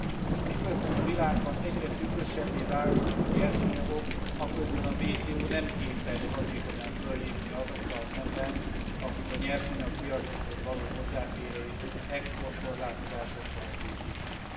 És miközben a világban egyre szűkösebbé válnak a nyersanyagok, aközben a WTO nem képes hatékonyan föllépni azokkal szemben, akik a nyersanyagpiacokhoz való hozzáférést exportkorlátozásokkal szűkítik.